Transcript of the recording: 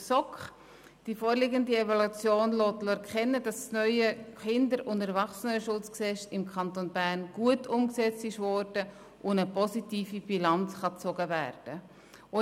Die vorliegende Evaluation lässt erkennen, dass das neue KESG im Kanton Bern gut umgesetzt wurde und eine positive Bilanz gezogen werden kann.